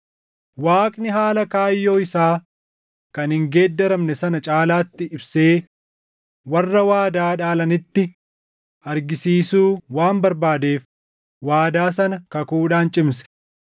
Waaqni haala kaayyoo isaa kan hin geeddaramne sana caalaatti ibsee warra waadaa dhaalanitti argisiisuu waan barbaadeef waadaa sana kakuudhaan cimse.